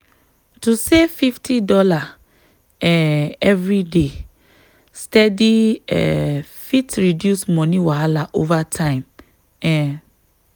to save fifty dollar um every day steady um fit reduce money wahala over time. um